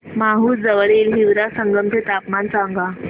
माहूर जवळील हिवरा संगम चे तापमान सांगा